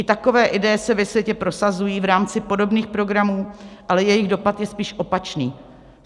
I takové ideje se ve světě prosazují v rámci podobných programů, ale jejich dopad je spíše opačný.